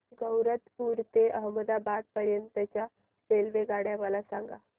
गैरतपुर ते अहमदाबाद पर्यंत च्या रेल्वेगाड्या मला सांगा